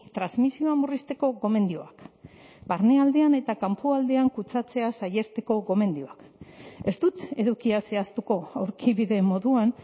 transmisioa murrizteko gomendioak barnealdean eta kanpoaldean kutsatzea saihesteko gomendioak ez dut edukia zehaztuko aurkibide moduan